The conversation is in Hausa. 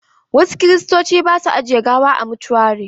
Wasu Kiristoci ba su ajiye gawa a motuari.